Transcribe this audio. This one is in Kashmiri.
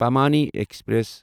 پامانی ایکسپریس